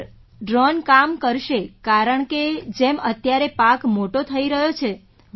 sir drone કામ કરશે કારણકે જેમ અત્યારે પાક મોટો થઈ રહ્યો છે